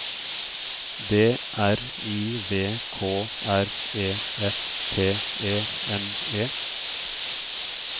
D R I V K R E F T E N E